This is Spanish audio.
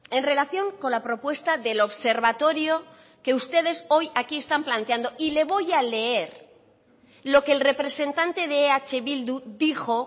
en relación con la propuesta del observatorio que ustedes hoy aquí están planteando y le voy a leer lo que el representante de eh bildu dijo